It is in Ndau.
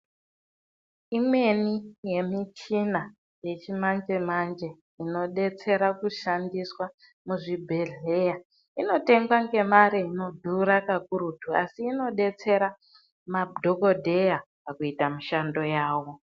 Imweni yemichina yechimanje manje inobetsira kunoshandiswa muzvibhehlera inotengwa ngemari inodhura kakurutu asi inobetsera madokoteya pakuita mishando yavo.